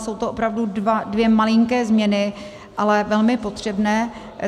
Jsou to opravdu dvě malinké změny, ale velmi potřebné.